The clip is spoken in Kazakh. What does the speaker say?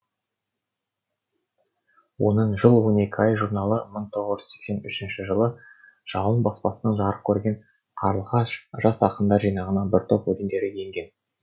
оның жыл он екі ай журналы мың тоғыз жүз сексен үшінші жылы жалын баспасынан жарық көрген қарлығаш жас ақындар жинағына бір топ өлеңдері енген